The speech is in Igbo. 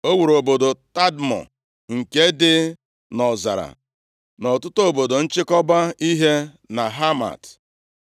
O wuru obodo Tadmọ nke dị nʼọzara na ọtụtụ obodo nchịkọba ihe na Hamat.